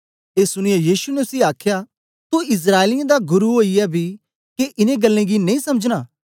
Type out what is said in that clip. ए सुनीयै यीशु ने उसी आखया तू इस्राएलियें दा गुरु ओईयै बी के इनें गल्लें गी नेई समझना